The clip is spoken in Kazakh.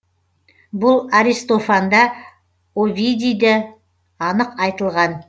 бұл аристофанда овидийде анық айтылған